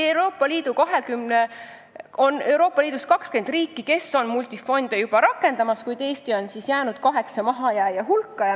Praegu on Euroopa Liidus 20 riiki, kes multifonde juba rakendavad, kuid Eesti on jäänud kaheksa mahajääja hulka.